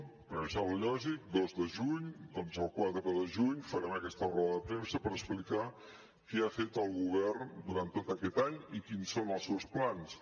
perquè em sembla lògic dos de juny doncs el quatre de juny farem aquesta roda de premsa per explicar què ha fet el govern durant tot aquest any i quins són els seus plans